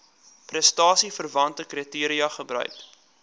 prestasieverwante kriteria gebruik